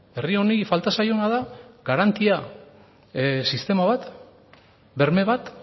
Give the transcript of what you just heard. herri honi falta zaiona da garantia sistema bat berme bat